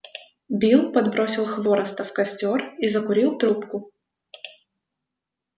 билл подбросил хвороста в костёр и закурил трубку